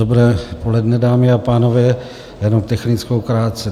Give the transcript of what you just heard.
Dobré poledne, dámy a pánové, jenom technickou krátce.